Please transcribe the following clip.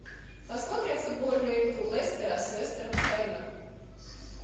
посмотрим футбольную игру лестера с вестер хэмом